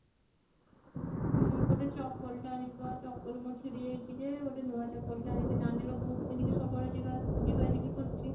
ଉଁ ଗୋଟେ ଚପଲ ଟେ ଆଣିବି ବା ଚପଲ ମୋର ଛିଡି ଯାଇଛି ଯେ ଗୋଟେ ନୂଆ ଚପଲ ଟେ ଆଣିବି ନାନି ର ବୂଟ୍ ପିନ୍ଧିକି ସବୁବେଳେ ଯିବା ଯିବା ଜିବି କରୁଛି